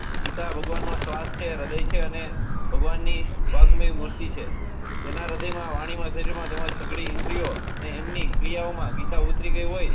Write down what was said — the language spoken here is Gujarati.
ગીતા ભગવાન નો શ્વાસ છે હૃદય છે અને ભગવાન ની વાગ્માઈ મૂર્તિ છે જેના હૃદય માં વાણી વછે છે તેમજ સગડી ઇન્દ્રિયો ને એમની ક્રિયા ઓ માં ગીતા ઉતરી ગઈ હોય.